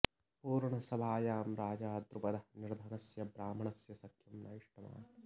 पूर्णसभायां राजा द्रुपदः निर्धनस्य ब्राह्मणस्य सख्यं न इष्टवान्